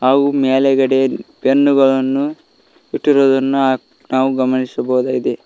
ಹಾಗು ಮ್ಯಾಲುಗಡೆ ಪೆನ್ನು ಗಳನ್ನು ಇಟ್ಟಿರುವುದನ್ನು ನಾವು ಗಮನಿಸಬಹುದು.